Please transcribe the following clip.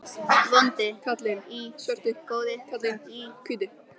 Vondi karlinn í svörtu, góði karlinn í hvítu.